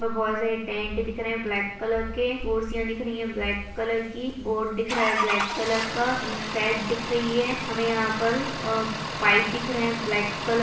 बहोत सारे टेंट दिख रहे है ब्लैक कलर के कुर्सियां दिख रही है ब्लैक कलर की बोर्ड दिख रहा है ब्लैक कलर का इनसाइड दिख रही है हमें यहाँ पर अ पाइप दिख रहे है ब्लैक कलर --